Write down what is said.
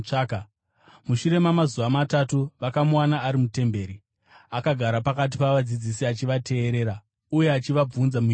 Mushure mamazuva matatu vakamuwana ari mutemberi, akagara pakati pavadzidzisi achivateerera uye achivabvunza mibvunzo.